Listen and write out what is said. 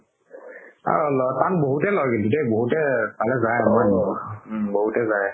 তাত বহুতে লয় কিন্তু দেই বহুতে যাই